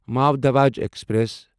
مور Dhwaj express